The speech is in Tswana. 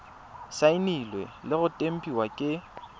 saenilwe le go tempiwa ke